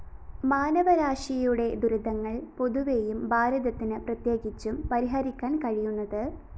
മാനവരാശിയുടെ ദുരിതങ്ങള്‍ പൊതുവെയും ഭാരതത്തിന് പ്രത്യേകിച്ചും പരിഹരിക്കാന്‍ കഴിയുന്നത്